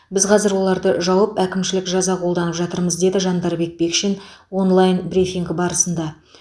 біз қазір оларды жауып әкімшілік жаза қолдананып жатырмыз деді жандарбек бекшин онлайн брифинг барысында